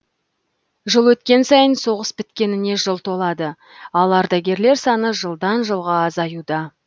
жыл өткен сайын соғыс біткеніне жыл толады ал ардагерлер саны жылдан жылға азаюда